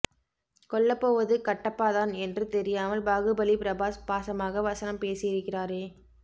கொல்லப்போவது கட்டப்பா தான் என்று தெரியாமல் பாகுபலி பிரபாஸ் பாசமாக வசனம் பேசியிருக்கிறாரே